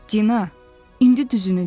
Dina, indi düzünü de.